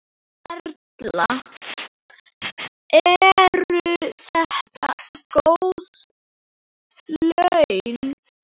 Erla: Eru þetta góð laun?